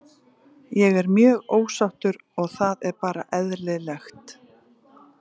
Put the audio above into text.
Ég er mjög ósáttur og það er bara eðlilegt.